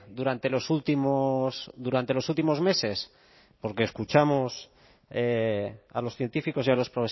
durante los últimos durante los últimos meses porque escuchamos a los científicos y a los